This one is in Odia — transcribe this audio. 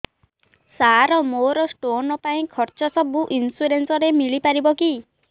ସାର ମୋର ସ୍ଟୋନ ପାଇଁ ଖର୍ଚ୍ଚ ସବୁ ଇନ୍ସୁରେନ୍ସ ରେ ମିଳି ପାରିବ କି